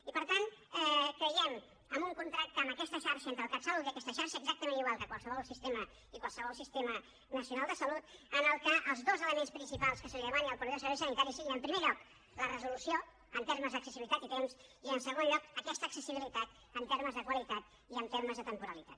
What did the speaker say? i per tant creiem en un contracte amb aquesta xarxa entre el catsalut i aquesta xarxa exactament igual que a qualsevol sistema nacional de salut en què els dos elements principals que se li demanin al proveïdor de serveis sanitaris siguin en primer lloc la resolució en termes d’accessibilitat i temps i en segon lloc aquesta accessibilitat en termes de qualitat i en termes de temporalitat